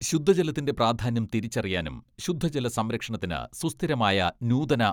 ശുദ്ധജലത്തിന്റെ പ്രാധാന്യം തിരിച്ചറിയാനും ശുദ്ധജല സംരക്ഷണത്തിന് സുസ്ഥിരമായ നൂതന